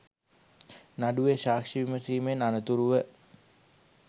නඩුවේ සාක්ෂි විමසීමෙන් අනතුරුව